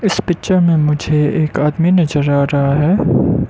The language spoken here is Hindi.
इस पिक्चर में मुझे एक आदमी नजर आ रहा है।